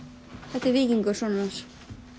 þetta er Víkingur sonur hans